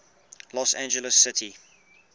los angeles city